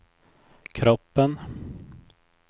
kroppen